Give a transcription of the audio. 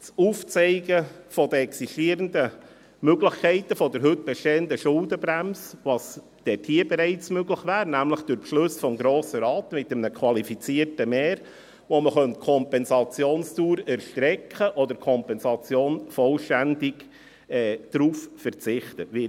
Das Aufzeigen der existierenden Möglichkeiten der heute bestehenden Schuldenbremse, was hier bereits möglich wäre, nämlich durch Beschlüsse des Grossen Rates mit einem qualifizierten Mehr, womit die Kompensationsdauer erstreckt oder vollständig auf die Kompensation verzichtet werden könnte.